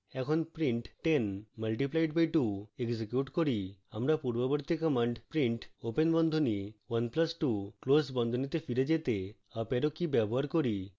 এখন print 10 multiplied by 2 execute করি